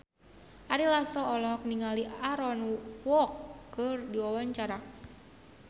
Ari Lasso olohok ningali Aaron Kwok keur diwawancara